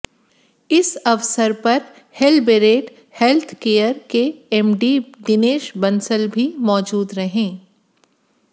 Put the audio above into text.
इस अवसर पर हेल्बेरेड हैल्थ केयर के एमडी दिनेश बंसल भी मौजूद रहे